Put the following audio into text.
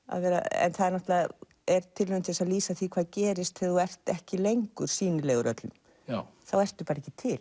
en það er tilraun til að lýsa því hvað gerist þegar þú ert ekki lengur sýnilegur öllum þá ertu bara ekki til